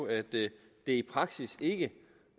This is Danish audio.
at det i praksis ikke